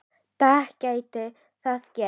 dag gæti það gerst.